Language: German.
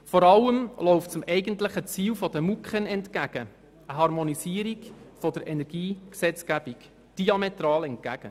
Vor allem aber läuft es dem eigentlichen Ziel der MuKEn, eine Harmonisierung der Energiegesetzgebung, diametral entgegen.